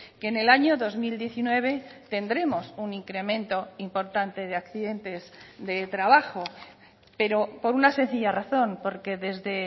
que en el año dos mil diecinueve tendremos un incremento importante de accidentes de trabajo pero por una sencilla razón porque desde